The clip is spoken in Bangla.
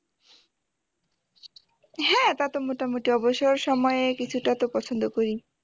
হ্যাঁ তা তো মোটামুটি অবসর সময়ে কিছুটা তো পছন্দ করি